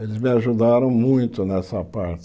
Eles me ajudaram muito nessa parte.